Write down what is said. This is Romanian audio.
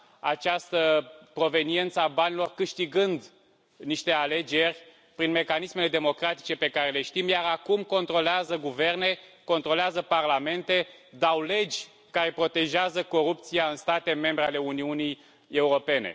această proveniență a banilor, câștigând niște alegeri prin mecanismele democratice pe care le știm, iar acum controlează guverne, controlează parlamente, dau legi care protejează corupția în state membre ale Uniunii Europene.